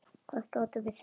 Hvað gátum við sagt?